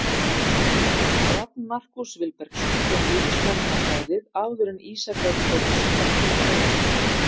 Rafn Markús Vilbergsson kom Víðismönnum á bragðið áður en Ísak Örn Þórðarson bætti við öðru.